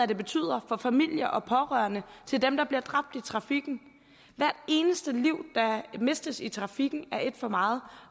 det betyder for familier og pårørende til dem der bliver dræbt i trafikken hvert eneste liv der mistes i trafikken er et for meget